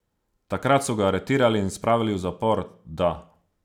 Takrat so ga aretirali in spravili v zapor, da.